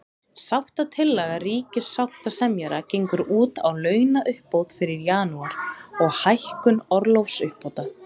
Sáttatillaga ríkissáttasemjara gengur út á launauppbót fyrir janúar, og hækkun orlofsuppbóta.